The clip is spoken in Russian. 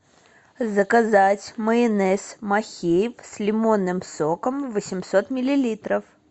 заказать майонез махеев с лимонным соком восемьсот миллилитров